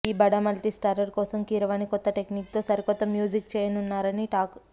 ఈ బడా మల్టీస్టారర్ కోసం కీరవాణి కొత్త టెక్నీక్ తో సరికొత్త మ్యూజిక్ చేయనున్నారు అని టాక్